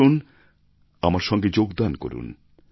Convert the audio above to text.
আসুন আমার সঙ্গে যোগদান করুন